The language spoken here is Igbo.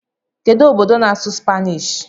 Kedu obodo na-asụ Spanish?